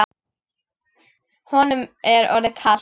Honum er orðið kalt.